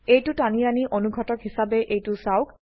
এইটো টানি আনি অনুঘটক হিসাবে এইটো চাওক